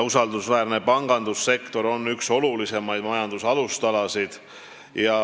Usaldusväärne pangandussektor on aga üks olulisemaid majanduse alustalasid.